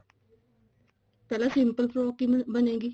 ਪਹਿਲਾਂ simple frock ਕਿਵੇਂ ਬਣੇਗੀ